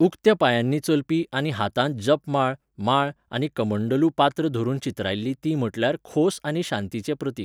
उक्त्या पांयांनी चलपी आनी हातांत जपमाळ माळ आनी कमंडलू पात्र धरून चित्रायल्ली ती म्हटल्यार खोस आनी शांतीचें प्रतीक.